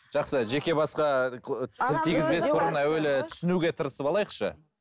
жақсы жеке басқа әуелі түсінуге тырысып алайықшы